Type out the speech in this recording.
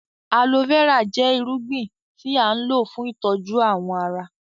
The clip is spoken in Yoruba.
Aloe vera jẹ ìrúgbìn tí a n lọ fún ìtọju awọn àrà.